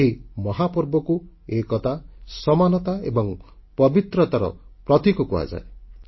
ଏହି ମହାପର୍ବକୁ ଏକତା ସମାନତା ଏବଂ ପବିତ୍ରତାର ପ୍ରତୀକ କୁହାଯାଏ